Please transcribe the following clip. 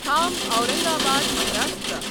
کھام Aurangabad Maharashtra